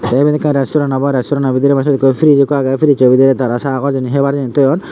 te iben ekkan resturant obo resturanto bidiri bu sut ekku fridge ekku age frijo bidiri tara sagor jinich hebar jinich thoyun.